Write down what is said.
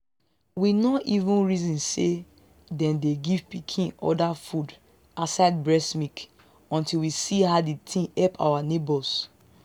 we no even reason say then dey give pikin other food aside breast milk until we see how the thing help our neighbors.